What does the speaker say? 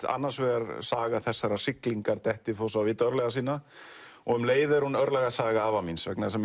annars vegar saga þessarar siglingar Dettifoss á vit örlaga sinna og um leið er hún örlagasaga afa míns vegna þess að